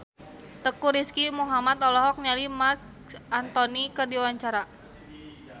Teuku Rizky Muhammad olohok ningali Marc Anthony keur diwawancara